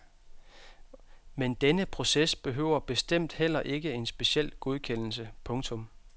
Men denne proces behøver bestemt heller ikke en speciel godkendelse. punktum